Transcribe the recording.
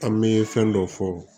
An bɛ fɛn dɔ fɔ